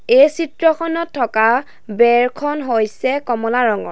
এই চিত্ৰখনত থকা বেৰখন হৈছে কমলা ৰঙৰ।